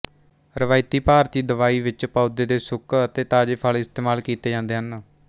ਰਵਾਇਤੀ ਭਾਰਤੀ ਦਵਾਈ ਵਿੱਚ ਪੌਦੇ ਦੇ ਸੁੱਕ ਅਤੇ ਤਾਜ਼ੇ ਫਲ ਇਸਤੇਮਾਲ ਕੀਤੇ ਜਾਂਦੇ ਹਨ